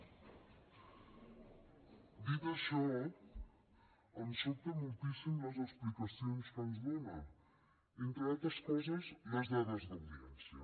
dit això em sobten moltíssim les explicacions que ens dóna entre altres coses les dades d’audiència